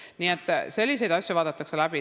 Nii et selliseid asju vaadatakse läbi.